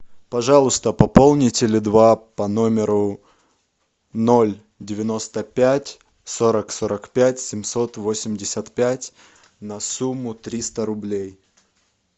пожалуйста пополни теле два по номеру ноль девяносто пять сорок сорок пять семьсот восемьдесят пять на сумму триста рублей